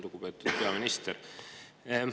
Lugupeetud peaminister!